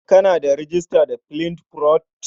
Kana da rejista da Flipboard?